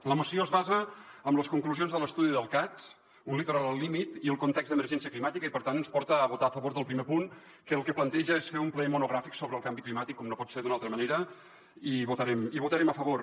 la moció es basa en les conclusions de l’estudi del cads un litoral al límit i el context d’emergència climàtica i per tant ens porta a votar a favor del primer punt que el que planteja és fer un ple monogràfic sobre el canvi climàtic com no pot ser d’una altra manera i hi votarem a favor